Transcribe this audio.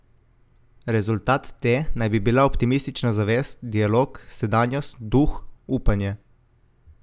Rezultat te naj bi bila optimistična zavest, dialog, sedanjost, duh, upanje.